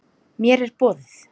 Mér er boðið.